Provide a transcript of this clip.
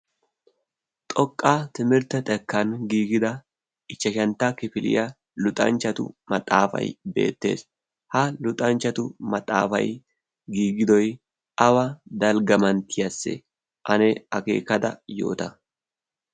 xoqqaa timirtta xekkan giigida ichchashantta kifiliya luxanchchatu maxaafai beettees. ha luxanchchatu maxaafai giigidoi awa dalggamanttiyaasse? ane akeekada yoota.